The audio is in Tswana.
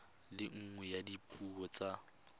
le nngwe ya dipuo tsa